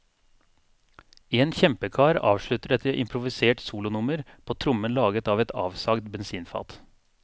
En kjempekar avslutter et improvisert solonummer på trommen laget av et avsagd bensinfat.